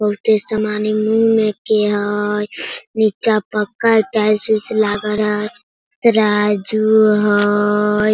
बहुते समाने में के हई नीचा पक्का टाईल्स - उयल्स लगा रा तराजू हई।